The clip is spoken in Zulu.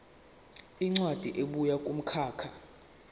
incwadi ebuya kumkhakha